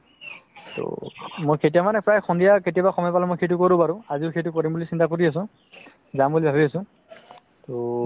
ট মই কেতিয়া মানে প্ৰাই সন্ধিয়া কেতিয়াবা সময় পালে সেইটো কৰো বাৰু আজিও সেইটো কৰো বুলি চিন্তা কৰি আছো যাব বুলি ভাবি আছো ট